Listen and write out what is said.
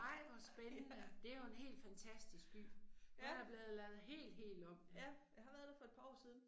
Ja. Ja. Ja, jeg har været der for et par år siden